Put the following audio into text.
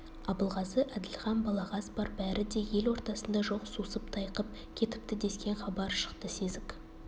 абылғазы әділхан балағаз бар бәрі де ел ортасында жоқ сусып тайқып кетіпті дескен хабар шықты сезік